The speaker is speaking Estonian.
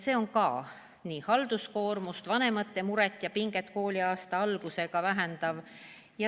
See ka vähendab halduskoormust, vanemate muret ja pinget kooliaasta alguses.